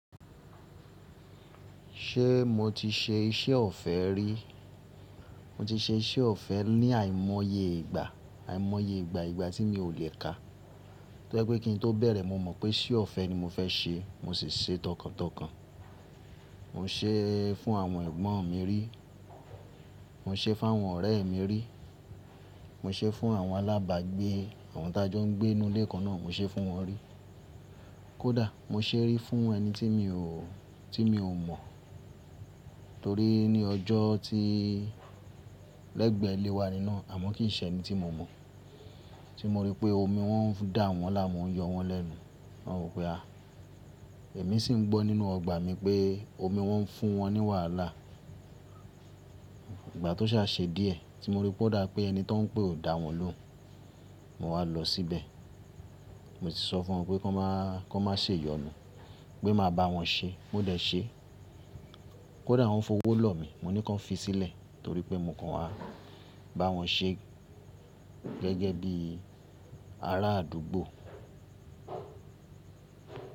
Ṣé mo ti ṣe iṣẹ́ ọ̀fẹ́ rí? Mo ti ṣe iṣẹ́ ọ̀fẹ́ ní àìmọye ìgbà, àìmọye ìgbà ìgbà tí mi ò lè kà. Tó je pé kí n tó bẹ̀rẹ̀ mo mọ̀ pé iṣẹ́ ọ̀fẹ́ ni mo fẹ́ ṣe mo sì ṣe tọkàntọkàn. Mo ṣe fún àwọn ẹ̀gbọ́n mi rí, mo ṣe fún àwọn ọ̀rẹ́ mi rí, mo ṣe fún àwọn alábàgbé, àwọn tà jọ n gbé nú ilé kan náà mo ṣe fún wọn rí. Kódà mo n ṣe rí fún ẹni tí mi ò, tí mi ò mọ̀ torí ní ọjọ́ tí lẹ́gbẹ̀ẹ́ ilé wa ní nàá, àmọ́ kì í ṣe ẹni tí mo mọ̀. Tí mo rí pé omi wọ́n ń dà wọ́n làmu, o n yọ wọ́n lẹ́nu, mo wa wọ́o pé a. Ẹ̀mí sì n gbọ́ nínú ọgbà mi pé omi wọ́n ń fún wọ́n ní wàhálà. Ìgbà tó sà se díẹ̀ tí mo ríi po dà pé ẹni tó n pè o dà wọ́n lóun. Mo wà á lọ síbẹ̀. Mo sì sọ fún wọn pé kan má, kan má ṣe iyọnu. Pé ma bá wọn ṣe, mó dé ṣe. Kódà wọ́n fowó lọ̀ mí, mo ní kan fi sílẹ̀ torí pé mo kàn wá bá wọn ṣe gẹ́gẹ́ bí ará àdúgbò.